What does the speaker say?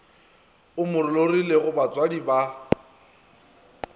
o mo lorilego batswadi ba